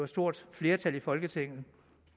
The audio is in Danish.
stort flertal i folketinget